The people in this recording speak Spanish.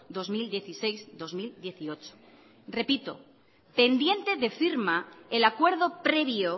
dos mil dieciséis dos mil dieciocho repito pendiente de firma el acuerdo previo